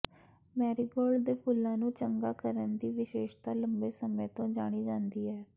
ਮੈਰੀਗੋਲੇਡ ਦੇ ਫੁੱਲਾਂ ਨੂੰ ਚੰਗਾ ਕਰਨ ਦੀ ਵਿਸ਼ੇਸ਼ਤਾ ਲੰਬੇ ਸਮੇਂ ਤੋਂ ਜਾਣੀ ਜਾਂਦੀ ਹੈ